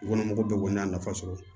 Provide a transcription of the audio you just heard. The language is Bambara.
Kɔnɔmɔgɔw bɛɛ kɔni y'a nafa sɔrɔ